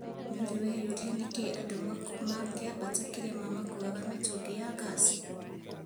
Nĩũrĩ weyũria nĩkĩĩ andũ makĩambata kĩrĩma makuuaga mĩtũngi ya ngaci?